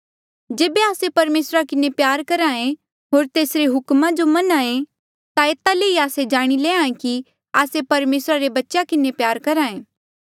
जेबे आस्से परमेसरा किन्हें प्यार करहा ऐें होर तेसरे हुक्मा जो मन्हां ऐें ता एता ले ई आस्से जाणी लैंहां ऐें कि आस्से परमेसरा रे बच्चेया किन्हें प्यार करहा ऐें